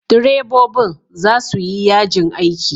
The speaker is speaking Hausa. Direbobin za su yi yajin aiki.